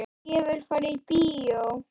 Ég vil fara í bíó